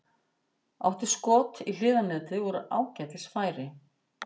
Átti skot í hliðarnetið úr ágætis færi.